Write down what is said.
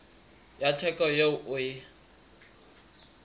ya theko eo o e